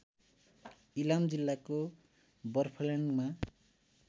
इलाम जिल्लाको बरफल्याङमा